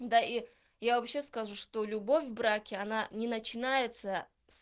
да и я вообще скажу что любовь в браке она не начинается